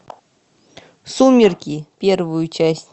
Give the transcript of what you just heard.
сумерки первую часть